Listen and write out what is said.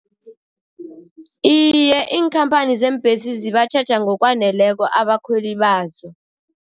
Iye, iinkhamphani zeembhesi zibatjheja ngokwaneleko abakhweli bazo.